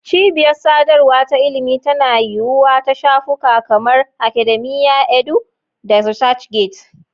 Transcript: Cibiyar sadarwa ta ilimi tana yiwuwa ta shafuka kamar Academia.edu da ResearchGate.